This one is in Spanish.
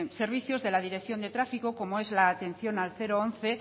servicios de la dirección de tráfico como es la atención al once